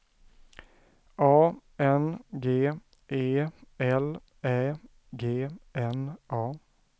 A N G E L Ä G N A